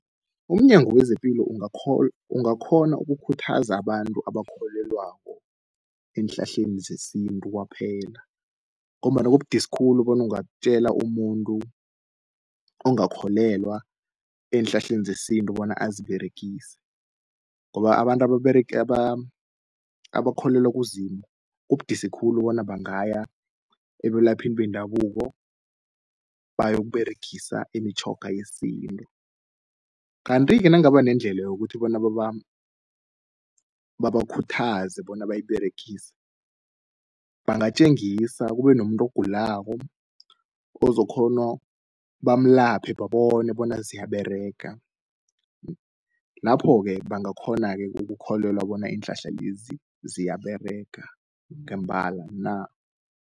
UmNyango wezePilo ungakhona ukukhuthaza abantu abakholelwako eenhlahleni zesintu kwaphela, ngombana kubudisi khulu bona ungatjela umuntu ongakholelwa eenhlahleni zesintu bona aziberegise, ngoba abantu ababerega abakholelwa kuZimu kubudisi khulu bona bangaya ebelaphini bendabuko bayokUberegisa imitjhoga yesintu. Kanti-ke nakungaba nendlela yokuthi bona babakhuthaze bona bayiberegise, bangatjengisa kube nomuntu ogulako ozokhona, bamulaphe babone bona ziyaberega. Lapho-ke bangakghona-ke ukukholelwa bona iinhlahla lezi ziyaberega ngembala na.